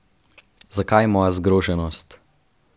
Zakaj moja zgroženost?